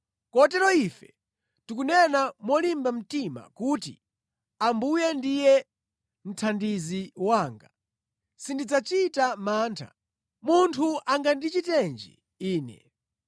Kotero ife tikunena molimba mtima kuti, “Ambuye ndiye mthandizi wanga; sindidzachita mantha. Munthu angandichitenji ine?”